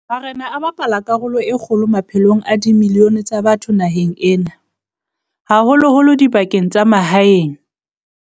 Marena a bapala karolo e kgolo maphelong a dimilione tsa batho naheng ena, haholo-holo dibakeng tsa mahaeng.